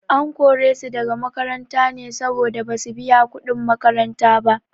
An kore su daga makaranta ne saboda basu biya kuɗin makaranta ba.